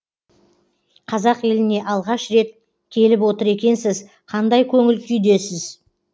қазақ еліне алғаш рет келіп отыр екенсіз қандай көңіл күйдесіз